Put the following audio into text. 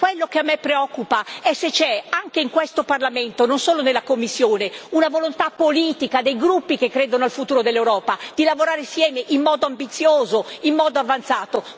Quello che a me preoccupa è se c'è, anche in questo Parlamento, non solo nella Commissione, una volontà politica dei gruppi che credono al futuro dell'Europa, di lavorare insieme, in modo ambizioso, in modo avanzato.